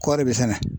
Kɔɔri bɛ sɛnɛ